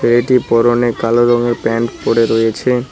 ছেলেটির পরনে কালো রঙের প্যান্ট পরে রয়েছে